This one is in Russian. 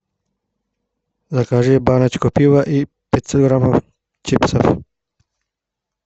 закажи баночку пива и пятьсот граммов чипсов